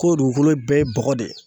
K'o dugukolo bɛɛ ye bɔgɔ de ye